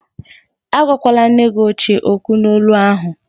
Agwakwala nne gi ochie okwu n'olu ahụ!